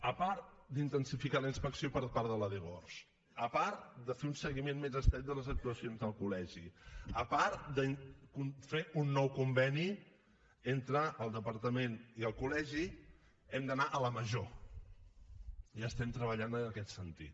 a part d’intensificar una inspecció per part de la dgors a part de fer un seguiment més estret de les actuacions del col·legi a part de fer un nou conveni entre el departament i el col·legi hem d’anar a la major i treballem en aquest sentit